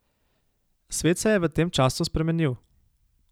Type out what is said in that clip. Svet se je v tem času spremenil.